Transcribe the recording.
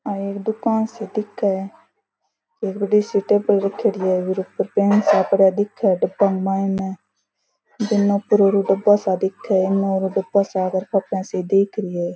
आ एक दुकान सी दिखे एक बड़ी सी टेबल रखेड़ी है ऊके ऊपर पेन सा रखे दिख रेया है डब्बा के मायने कॉपियां सी दीख री है।